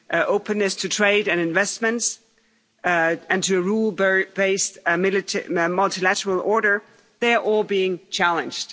Openness to trade and investments and to a rule based multilateral order, they are all being challenged.